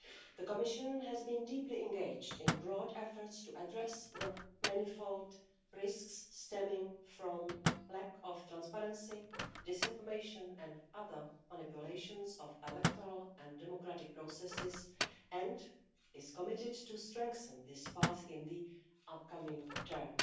The Commission has been deeply engaged in broad efforts to address the manifold risks stemming from lack of transparency, disinformation and other manipulations of electoral and democratic processes, and is committed to strengthening this path in the upcoming term.